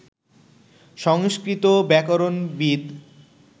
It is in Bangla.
সংস্কৃত ব্যাকরণবিদ